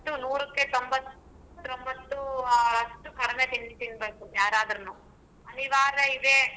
ನೂರಕ್ಕೆ ತೊಂಬತ್ರೊಂಬತ್ತು ಅಷ್ಟು ಕಡಮೆ ತಿಂಡಿ ತೀನ್ಬೇಕು ಯಾರಾದ್ರುನು ಅನಿವಾರ್ಯಾ ಇದೆ.